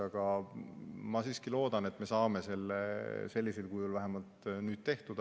Aga ma siiski loodan, et me saame selle sellisel kujul vähemalt nüüd tehtud.